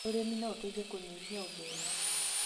ũrĩmi no ũteithie kũnyihia ũthĩni.